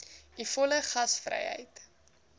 u volle gasvryheid